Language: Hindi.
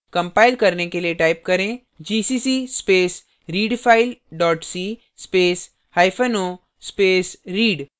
कंपाइल करने के लिए type करें gcc space readfile dot c space hyphen o space read